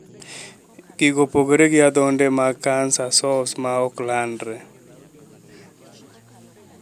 Gigo opogore gi adhonde mag canker sores ma ok landre.